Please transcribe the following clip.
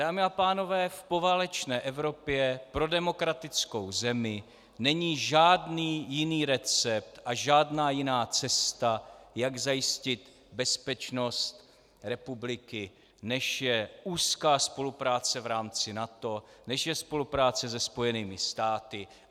Dámy a pánové, v poválečné Evropě pro demokratickou zemi není žádný jiný recept a žádná jiná cesta, jak zajistit bezpečnost republiky, než je úzká spolupráce v rámci NATO, než je spolupráce se Spojenými státy.